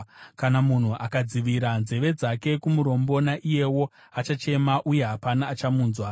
Kana munhu akadzivira nzeve dzake kumurombo, naiyewo achachema uye hapana achamunzwa.